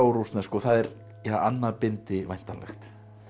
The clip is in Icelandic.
rússnesku og það er annað bindi væntanlegt